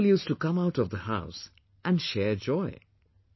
people used to come out of the house and share joy